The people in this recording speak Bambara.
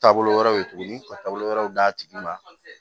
Taabolo wɛrɛw ye tuguni ka taabolo wɛrɛw d'a tigi ma